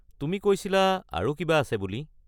তুমি কৈছিলা আৰু কিবা আছে বুলি?